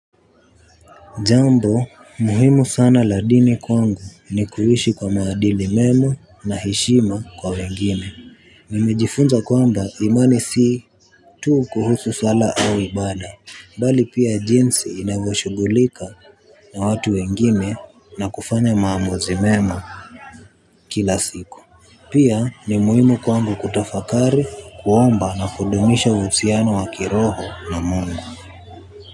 Jambo, muhimu sana la dini kwangu ni kuishi kwa maadili mema na heshima kwa wengine. Mimejifunza kwamba imani si tu kuhusu swala au ibada, bali pia jinsi inavyoshugulika na watu wengine na kufanya maamuzi mema kila siku. Pia ni muhimu kwamba kutafakari kuomba na kudumisha husiano wa kiroho na Mungu.